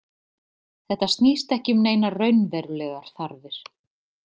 Þetta snýst ekki um neinar raunverulegar þarfir.